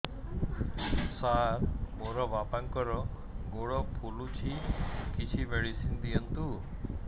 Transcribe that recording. ସାର ମୋର ବାପାଙ୍କର ଗୋଡ ଫୁଲୁଛି କିଛି ମେଡିସିନ ଦିଅନ୍ତୁ